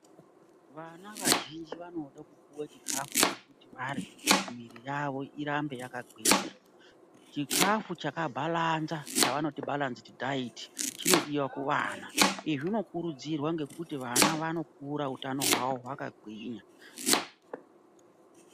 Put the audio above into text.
Vana vazhinji vanode kupuwe chikafu chekuti varye miiri yavo irambe yakagwinya. Chikafu chakabhalanza chavanoti bhalanzidhi dhaiti chinodiwa kuvana. Izvi zvinokurudzirwa ngekuti vana vanokura utano hwavo hwakagwinya.